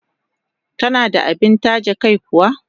Tana da abin taje kai kuwa?